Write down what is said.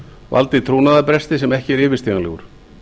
valdið trúnaðarbresti sem ekki er yfirstíganlegur